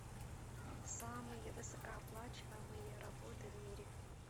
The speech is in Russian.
самые высокооплачиваемые работы в мире